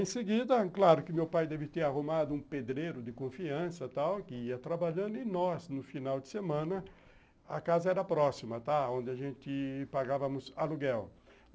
Em seguida, claro que meu pai deve ter arrumado um pedreiro de confiança tal que ia trabalhando e nós, no final de semana, a casa era próxima, tá, onde a gente pagava aluguel.